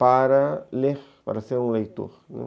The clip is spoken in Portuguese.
para ler, para ser um leitor, né.